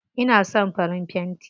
Ina son farin fenti.